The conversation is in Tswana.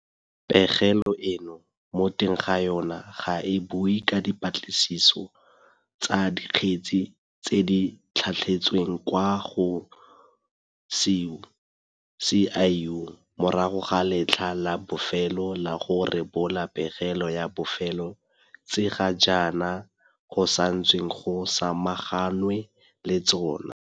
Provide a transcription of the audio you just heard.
Pegelo eno mo teng ga yona ga e bue ka dipatlisiso tsa dikgetse tse di tlhatlhetsweng kwa go SIU morago ga letlha la bofelo la go rebola pegelo ya bofelo tse ga jaana go santsweng go samaganwe le tsona.